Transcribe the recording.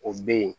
O bɛ yen